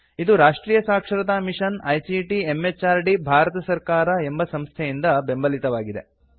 ಇದು ರಾಷ್ಟ್ರಿಯ ಸಾಕ್ಷರತಾ ಮಿಷನ್ ಐಸಿಟಿ ಎಂಎಚಆರ್ಡಿ ಭಾರತ ಸರ್ಕಾರ ಎಂಬ ಸಂಸ್ಥೆಯಿಂದ ಬೆಂಬಲಿತವಾಗಿದೆ